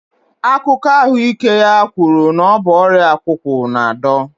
Akụkọ ahụike ya kwuru na ọ bụ ọrịa akwụkwụ na-adọ